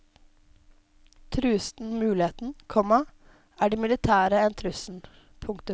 Trues denne muligheten, komma er de militære en trussel. punktum